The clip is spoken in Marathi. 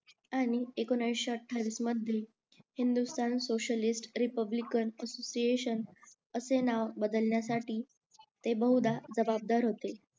आणि एकोणीशे आठवीसमध्ये हिंदुस्थान सोसिएलिस्ट रिपब्लिकन असोसिएशन असे नाव बदलण्यासाठी ते बहुदा जबाबदार होते